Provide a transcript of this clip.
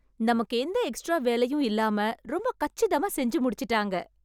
நமக்கு எந்த எக்ஸ்ட்ரா வேலையும் இல்லாம ரொம்பக் கச்சிதமா செஞ்சு முடிச்சுட்டாங்க.